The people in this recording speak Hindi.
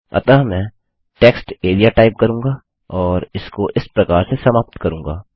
अतः मैं टेक्सटेरिया टाइप करूँगा और इसको इस प्रकार से समाप्त करूँगा